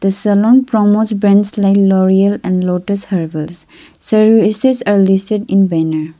the saloon promos brands like loreal and lotus herbels services are listed in banner.